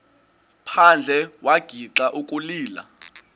phandle wagixa ukulila